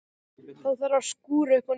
Þá þarf að skúra upp á nýtt.